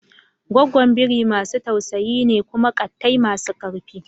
Goggon biri masu tausayi ne kuma ƙattai masu ƙarfi.